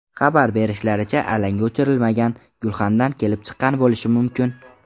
Xabar berishlaricha, alanga o‘chirilmagan gulxandan kelib chiqqan bo‘lishi mumkin.